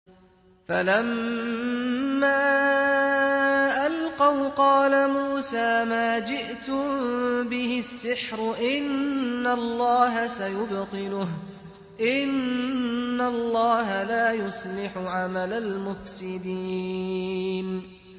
فَلَمَّا أَلْقَوْا قَالَ مُوسَىٰ مَا جِئْتُم بِهِ السِّحْرُ ۖ إِنَّ اللَّهَ سَيُبْطِلُهُ ۖ إِنَّ اللَّهَ لَا يُصْلِحُ عَمَلَ الْمُفْسِدِينَ